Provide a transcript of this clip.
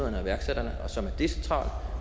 iværksætterne og som er decentral